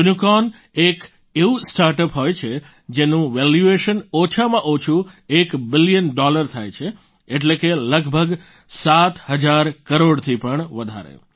unicorn એક એવું startup હોય છે જેનું વેલ્યુએશન ઓછામાં ઓછું એક બિલિયન ડોલર થાય છે એટલે કે લગભગ સાત હજાર કરોડથી પણ વધારે